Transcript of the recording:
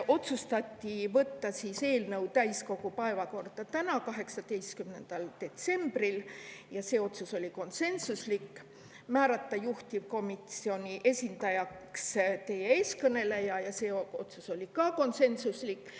Otsustati võtta eelnõu täiskogu päevakorda täna, 18. detsembril, ja see otsus oli konsensuslik, samuti määrata juhtivkomisjoni esindajaks teie ees kõneleja, ka see otsus oli konsensuslik.